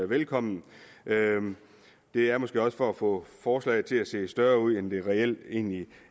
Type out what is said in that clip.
velkommen det er måske også for at få forslaget til at se større ud end det reelt